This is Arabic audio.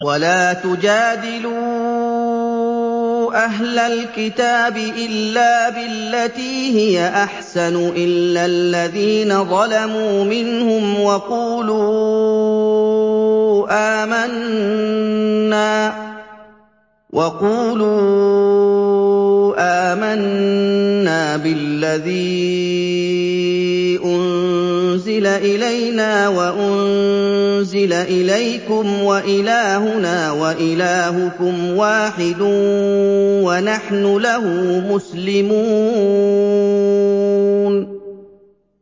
۞ وَلَا تُجَادِلُوا أَهْلَ الْكِتَابِ إِلَّا بِالَّتِي هِيَ أَحْسَنُ إِلَّا الَّذِينَ ظَلَمُوا مِنْهُمْ ۖ وَقُولُوا آمَنَّا بِالَّذِي أُنزِلَ إِلَيْنَا وَأُنزِلَ إِلَيْكُمْ وَإِلَٰهُنَا وَإِلَٰهُكُمْ وَاحِدٌ وَنَحْنُ لَهُ مُسْلِمُونَ